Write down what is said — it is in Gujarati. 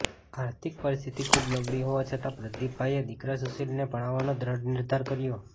આર્થિક પરિસ્થિતિ ખૂબ નબળી હોવા છતા પ્રદિપભાઇએ દિકરા સુશીલને ભણાવવાનો દ્રઢ નિર્ધાર કર્યો